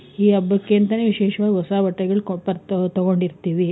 ಈ ಹಬ್ಬಕ್ಕೆ ಅಂತಾನೆ ವಿಶೇಷವಾಗಿ ಬಟ್ಟೆಗಳು ತಗೊಂಡಿರ್ತೀವಿ.